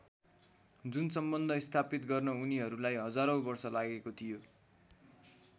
जुन सम्बन्ध स्थापित गर्न उनीहरूलाई हजारौँ वर्ष लागेको थियो।